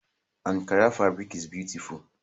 Ankara fabric is beautiful